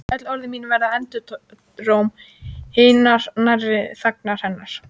Öll orð mín verða endurómur hinnar nærandi þagnar hennar.